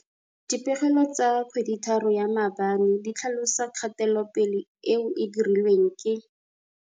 Dipegelo tsa kgweditharo ya maabane di tlhalosa kgatelopele eo e dirilweng ke.